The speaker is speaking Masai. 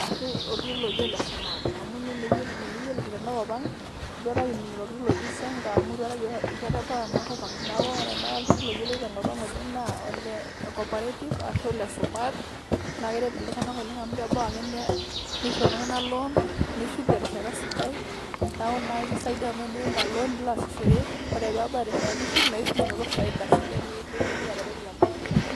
ashu oltururr oji Ole Sumat amu ninye naa eyiolo tena kop ang' eitu aikata kining' oltururr oji Zenka amu eitu ae Kata ebau ena Kop ang' neeku ore tenakata oltururr oyioloe tenkop oleng' naa Ole Koparative ashu Ole Sumat naa keret iltung'anak oleng' amu Kebau ake neisho iltung'anak Loan Nishuk terishata sidai na ore naii aikisaidia amu ore teniya Ina Loan neilo aasishore ore peebau erishata Nishuk naa eshuk elinoto efaida sidai nimitumoki ateretu teMaisha Eno.